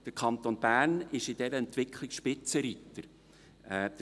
Der Kanton Bern ist in dieser Entwicklung Spitzenreiter.